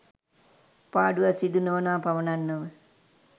පාඩුවක් සිදු නොවනවා පමණක් නොව